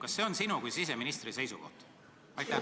Kas see on sinu kui siseministri seisukoht?